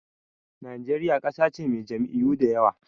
Najeriya ƙasa ce mai jam'iyyu da yawa.